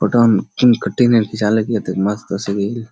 पता ने कुन कटिंग मे खिचालक ये ऐते मस्त तस्वीर अएले --